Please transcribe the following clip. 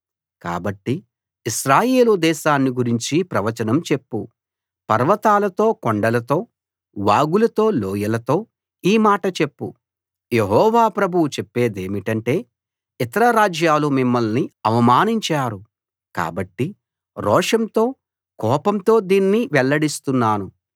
కాబట్టి ఇశ్రాయేలు దేశాన్ని గురించి ప్రవచనం చెప్పు పర్వతాలతో కొండలతో వాగులతో లోయలతో ఈ మాట చెప్పు యెహోవా ప్రభువు చెప్పేదేమిటంటే ఇతర రాజ్యాలు మిమ్మల్ని అవమానించారు కాబట్టి రోషంతో కోపంతో దీన్ని వెల్లడిస్తున్నాను